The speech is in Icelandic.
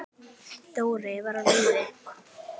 Dóri var á lífi.